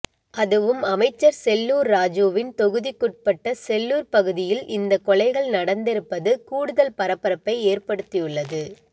அதுவும் அமைச்சர் செல்லூர் ராஜுவின் தொகுதிக்குட்பட்ட செல்லூர் பகுதியில் இந்தக் கொலைகள் நடந்திருப்பது கூடுதல் பரபரப்பை ஏற்படுத்தியுள்ளது